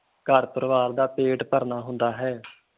ਘਰ ਪਰਿਵਾਰ ਦਾ ਪੇਟ ਭਰਨਾ ਹੁੰਦਾ ਹੈ।